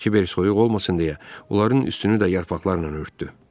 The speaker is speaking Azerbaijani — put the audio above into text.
Kibər soyuq olmasın deyə onların üstünü də yarpaqlarla örtdü.